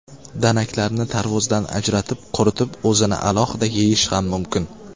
Danaklarni tarvuzdan ajratib, quritib o‘zini alohida yeyish ham mumkin.